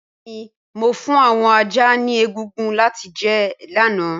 Bẹẹni Mo fun awọn ajá ni egungun lati jẹ lana.